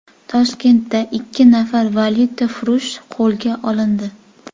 Toshkentda ikki nafar valyutafurush qo‘lga olindi.